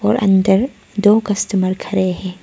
अंदर दो कस्टमर खड़े है।